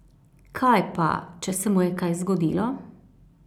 Kaj pa če se mu je kaj zgodilo?